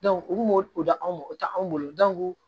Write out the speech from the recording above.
u kun m'o o da anw ma o tɛ anw bolo